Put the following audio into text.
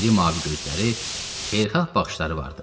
İri mavi gözləri, xeyirxah baxışları vardı.